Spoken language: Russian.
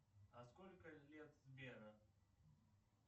а сколько лет сберу